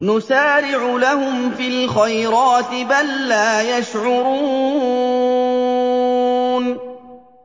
نُسَارِعُ لَهُمْ فِي الْخَيْرَاتِ ۚ بَل لَّا يَشْعُرُونَ